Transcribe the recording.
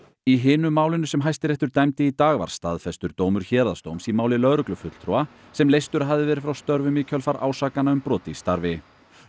í hinu málinu sem Hæstiréttur dæmdi í í dag var staðfestur dómur héraðsdóms í máli lögreglufulltrúa sem leystur hafði verið frá störfum í kjölfar ásakana um brot í starfi